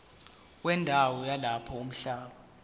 wendawo yalapho umhlaba